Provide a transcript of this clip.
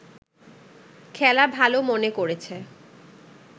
খেলা ভালো মনে করেছে